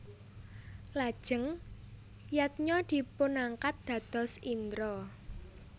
Lajeng Yadnya dipunangkat dados Indra